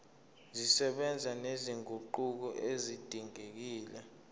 zisebenza nezinguquko ezidingekile